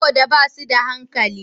Saboda ba su da hankali.